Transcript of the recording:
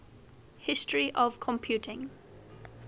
history of computing